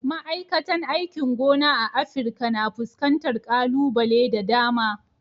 Ma'aikatan aikin gona a Afirka na fuskantar kalubale da dama.